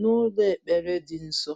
n'ụlọ ekpere dị nsọ.